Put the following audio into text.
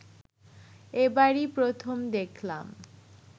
এবারই প্রথম দেখলাম